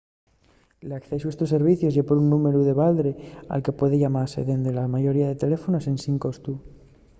l'accesu a estos servicios ye por un númberu de baldre al que puede llamase dende la mayoría de teléfonos ensin costu